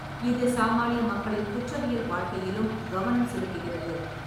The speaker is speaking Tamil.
இது சாமானிய மக்களின் குற்றவியல் வாழ்க்கையிலும் கவனம் செலுத்துகிறது.